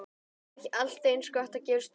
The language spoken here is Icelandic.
Er ekki allt eins gott að gefast bara upp?